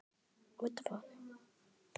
á jólum kysi sér.